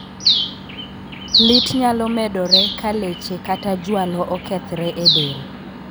Lit nyalo medore ka leche kata jwalo okethre e del.